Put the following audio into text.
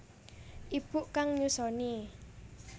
Ibu kang nyusoni